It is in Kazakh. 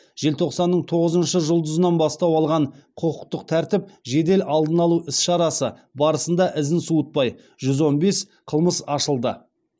желтоқсанның тоғызыншы жұлдызынан бастау алған құқықтық тәртіп жедел алдын алу іс шарасы барысында ізін суытпай жүз он бес қылмыс ашылды